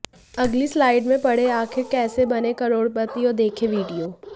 अगली स्लाइड में पढ़े आखिर कैसे बने करोड़पति और देखे वीडियो